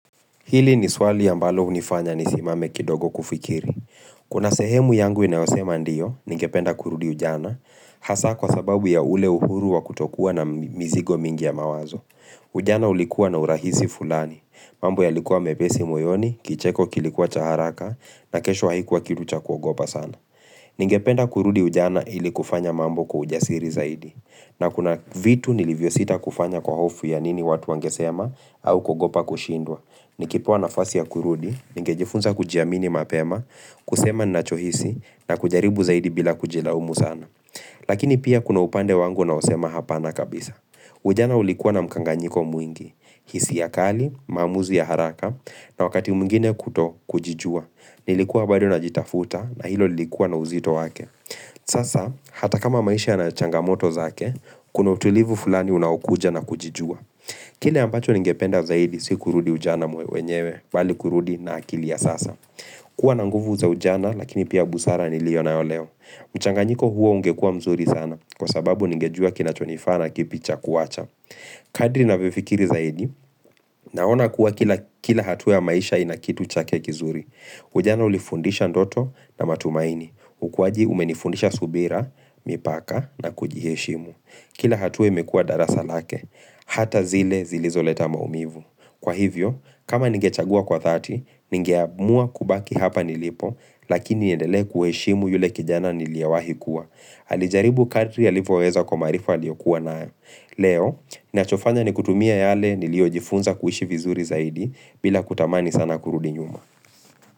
Hili ni swali ambalo hunifanya nisimame kidogo kufikiri. Kuna sehemu yangu inayosema ndiyo, ningependa kurudi ujana, hasa kwa sababu ya ule uhuru wa kutokua na mizigo mingi ya mawazo. Ujana ulikuwa na urahisi fulani. Mambo yalikuwa mepesi moyoni, kicheko kilikuwa cha haraka na kesho haikuwa kitu cha kuogopa sana. Ningependa kurudi ujana ili kufanya mambo kwa ujasiri zaidi. Na kuna vitu nilivyosita kufanya kwa hofu ya nini watu wangesema, au kogopa kushindwa. Nikipewa nafasi ya kurudi ningejifunza kujiamini mapema kusema ninachohisi na kujaribu zaidi bila kujilaumu sana Lakini pia kuna upande wangu unaosema hapana kabisa Ujana ulikuwa na mkanganyiko mwingi, hisia kali, maamuzi ya haraka na wakati mwngine kutokujijua. Nilikuwa bado najitafuta na hilo lilikuwa na uzito wake Sasa hata kama maisha yana changamoto zake Kuna utulivu fulani unaokuja na kujijua Kile ambacho ningependa zaidi si kurudi ujana mwenyewe bali kurudi na akili ya sasa. Kua na nguvu za ujana lakini pia busara niliyo nayo leo. Mchanganyiko huo ungekua mzuri sana kwa sababu ningejua kinachonifaa na kipi cha kuacha. Kadri ninavyofikiri zaidi, naona kuwa kila hatua ya maisha ina kitu chake kizuri. Ujana ulifundisha ndoto na matumaini. Ukuaji umenifundisha subira, mipaka na kujiheshimu. Kila hatua imekua darasa lake, hata zile zilizoleta maumivu. Kwa hivyo, kama nigechagua kwa 30, ningeamua kubaki hapa nilipo, lakini niendelee kuheshimu yule kijana niliyewahi kuwa. Alijaribu kadri alivyoweza kwa maarifa aliyokuwa nayo. Leo, ninachofanya ni kutumia yale niliojifunza kuishi vizuri zaidi bila kutamani sana kurudi nyuma.